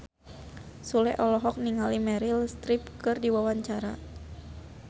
Sule olohok ningali Meryl Streep keur diwawancara